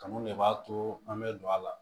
Kanu de b'a to an bɛ don a la